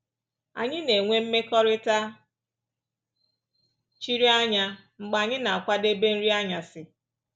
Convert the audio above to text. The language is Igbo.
Anyị na-enwe ‘mmekọrịta chiri anya’ mgbe anyị na-akwadebe nri anyasị